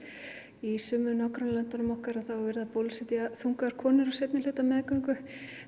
í sumum nágrannalöndunum okkar er verið að bólusetja þungaðar konur á seinni hluta meðgöngu